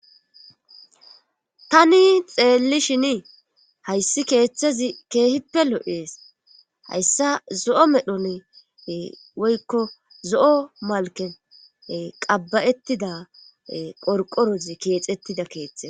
tani xeelli shini hayssi keeththezi keehippe lo7ees hayssa zo7o medhon woykko zo7o malken qabbayettida porqorozi keexettida keeththe